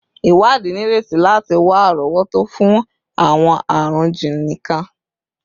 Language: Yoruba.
Iwadi nireti lati wa arowoto fun awọn arun jiini kan